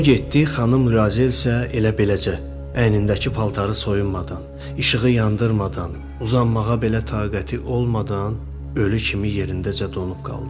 O getdi, xanım Lyuazel isə elə beləcə, əynindəki paltarı soyunmadan, işığı yandırmadan, uzanmağa belə taqəti olmadan ölü kimi yerindəcə donub qaldı.